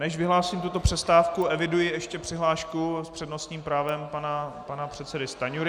Než vyhlásím tuto přestávku, eviduji ještě přihlášku s přednostním právem pana předsedy Stanjury.